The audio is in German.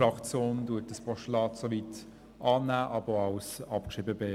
Die EDU-Fraktion nimmt das Postulat so weit an, betrachtet es aber als abgeschrieben.